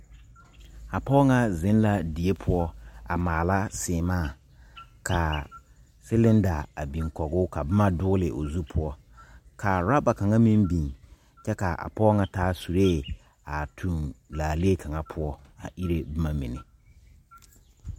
A pɔgɔ ŋa zeŋ la die poʊ a maala semaa. Ka a silinda a biŋ kɔg o ka boma dugle a o zu poʊ. Ka roba kanga meŋ biŋ. Kyɛ ka a pɔgɔ ŋa taa surɛ a tuŋ laaleɛ kanga poʊ a irre boma mene.